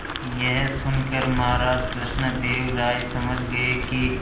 यह सुनकर महाराज कृष्णदेव राय समझ गए कि